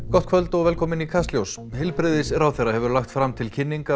gott kvöld og velkomin í Kastljós heilbrigðisráðherra hefur lagt fram til kynningar